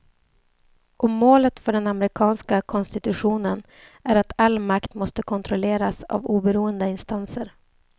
Och målet för den amerikanska konstitutionen är att all makt måste kontrolleras av oberoende instanser.